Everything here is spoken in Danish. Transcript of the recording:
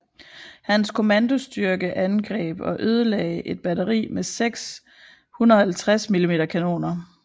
Hans kommandostyrke angreb og ødelagde et batteri med seks 150 mm kanoner